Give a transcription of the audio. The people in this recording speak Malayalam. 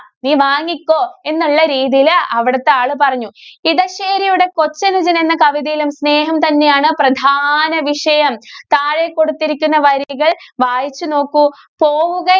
നീ വാങ്ങിക്കോ എന്നുള്ള രീതിയില് അവിടത്തെ ആള് പറഞ്ഞു. ഇടശ്ശേരിയുടെ കൊച്ചനുജന്‍ എന്ന കവിതയിലും സ്നേഹം തന്നെയാണ് പ്രധാന വിഷയം. താഴെകൊടുത്തിരിക്കുന്ന വരികള്‍ വായിച്ചു നോക്കൂ. പോവുക~